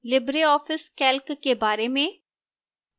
libreoffice calc के बारे में